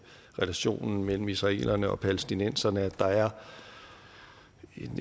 relationen mellem israelerne og palæstinenserne at der er